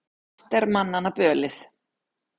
Margt er manna bölið.